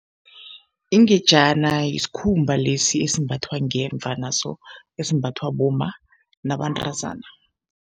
Ingejana yisikhumba lesi esimbathwa ngemva naso esimbathwa bomma nabantazana.